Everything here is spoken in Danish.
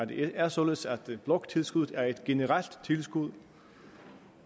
det er således at bloktilskuddet er et generelt tilskud